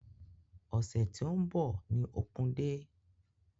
Ọsẹ ti n bọ ni opun-dé.